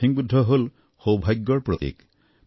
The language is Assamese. লাফিং বুদ্ধ হল সৌভাগ্যৰ প্ৰতীক